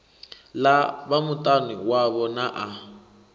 ḽa vhamutani wavho na a